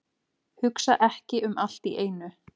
Hugsa ekki um allt í einu.